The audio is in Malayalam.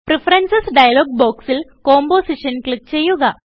പ്രഫറൻസസ് ഡയലോഗ് ബോക്സിൽ കമ്പോസിഷൻ ക്ലിക്ക് ചെയ്യുക